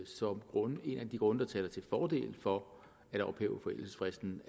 som en af de grunde til fordel for at ophæve forældelsesfristen